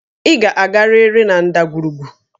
Ị ga-agarịrị na ndagwurugwu!